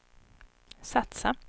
satsa